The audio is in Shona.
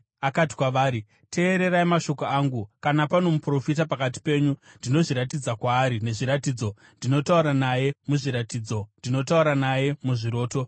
akati kwavari, “Teererai mashoko angu: “Kana pano muprofita pakati penyu, ndinozviratidza kwaari nezviratidzo, ndinotaura naye muzviratidzo, ndinotaura naye muzviroto.